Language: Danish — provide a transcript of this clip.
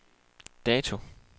dato